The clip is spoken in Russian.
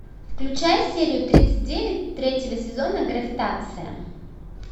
включай серию тридцать девять третьего сезона гравитация